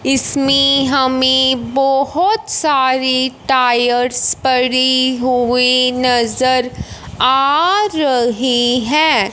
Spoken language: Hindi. इसमें हमें बहोत सारे टायर्स पड़े हुए नजर आ रही है।